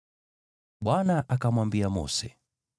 Bwana akamwambia Mose,